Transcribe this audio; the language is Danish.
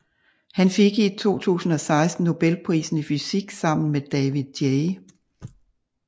Han fik i 2016 Nobelprisen i fysik sammen med David J